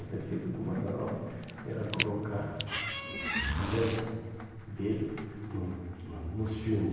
O defeito do Mazzaropi era colocar os amantes dele no no nos filmes.